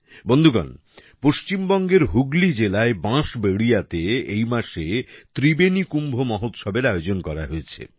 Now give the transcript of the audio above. বন্ধুগণ পশ্চিমবঙ্গের হুগলি জেলায় বাঁশবেড়িয়াতে এই মাসে ত্রিবেণী কুম্ভ মহোৎসবের আয়োজন করা হয়েছে